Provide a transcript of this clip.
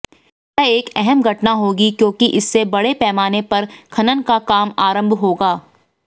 यह एक अहम घटना होगी क्योंकि इससे बड़े पैमाने पर खनन का काम आरंभ होगा